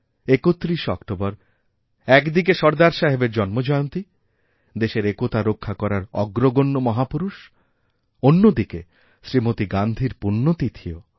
৩১শে October একদিকে সর্দার সাহেবের জন্মজয়ন্তী দেশের একতা রক্ষাকরার অগ্রগণ্য মহাপুরুষ অন্যদিকে শ্রীমতী গান্ধীর পূণ্য তিথিও